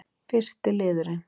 fyrsti liðurinn